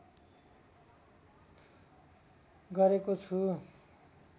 गरेको छु